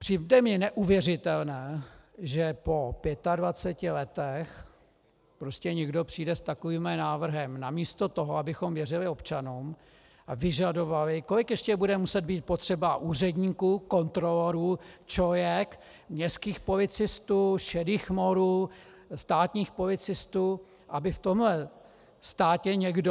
Přijde mi neuvěřitelné, že po 25 letech prostě někdo přijde s takovýmhle návrhem namísto toho, abychom věřili občanům a vyžadovali - kolik ještě bude muset být potřeba úředníků, kontrolorů, ČOIek, městských policistů, šedých morů, státních policistů, aby v tomhle státě někdo...?